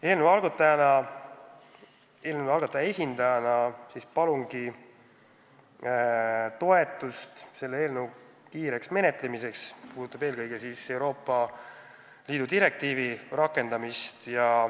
Eelnõu algataja esindajana palungi toetust selle eelnõu kiireks menetlemiseks, eelkõige puudutab see Euroopa Liidu direktiivi rakendamist.